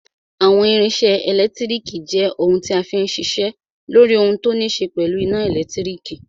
Àwọn irinṣẹ́ ẹlẹtíríkì jẹ́ ohun tí a fí n ṣiṣẹ́ lóri ohun tó ní ṣe pẹ̀lú iná ẹ̀lẹ́tírík.